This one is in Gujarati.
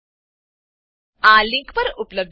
આ લીંક પર ઉપલબ્ધ વિડીયો નિહાળો